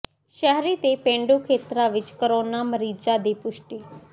ਸ਼ਹਿਰੀ ਤੇ ਪੇਂਡੂ ਖੇਤਰ ਵਿਚ ਕੋਰੋਨਾ ਮਰੀਜ਼ਾਂ ਦੀ ਪੁਸ਼ਟੀ